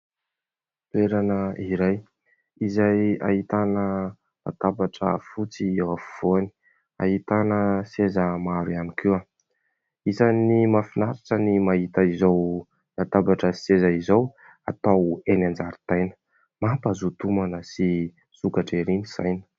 Toerana iray izay ahitana latabatra fotsy eo afovoany, ahitana seza maro ihany koa. Isany mahafinaritra ny mahita izao latabatra sy seza izao atao eny an-jaridaina, mampahazoto homana sy misokatra ery ny saina.